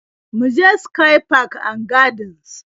Mu je sky park and gardens